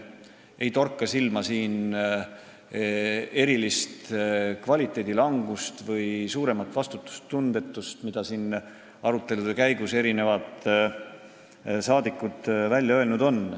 Ei torka silma erilist kvaliteedi halvenemist või suuremat vastutustundetust, mida siin arutelude käigus mitmed saadikud välja öelnud on.